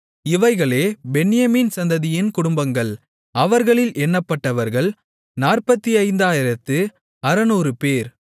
இவைகளே பென்யமீன் சந்ததியின் குடும்பங்கள் அவர்களில் எண்ணப்பட்டவர்கள் 45600 பேர்